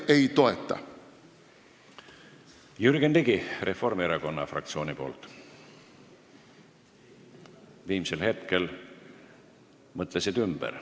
Jürgen Ligi Reformierakonna fraktsiooni nimel – viimsel hetkel mõtlesid ümber.